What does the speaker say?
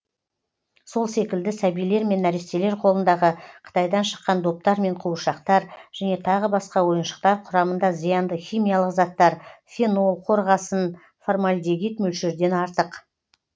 сол секілді сәбилер мен нәрестелер қолындағы қытайдан шыққан доптар мен қуыршақтар және тағы басқа ойыншықтар құрамында зиянды химиялық заттар фенол қорғасын формальдегид мөлшерден артық